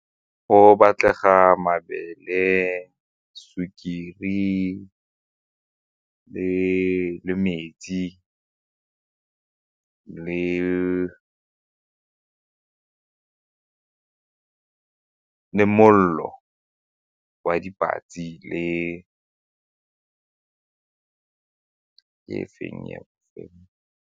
Go batlega mabele, sukiri le metsi le molelo wa le e feng e nngwe?